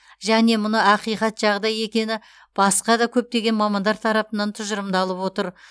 және мұны ақиқат жағдай екені басқа да көптеген мамандар тарапынан тұжырымдалып отыр